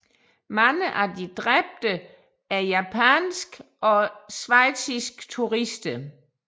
Mange af de dræbte er japanske og schweiziske turister